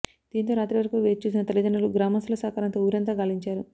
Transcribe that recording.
దీంతో రాత్రి వరకు వేచి చూసిన తల్లిదండ్రులు గ్రామస్థుల సహకారంతో ఊరంతా గాలించారు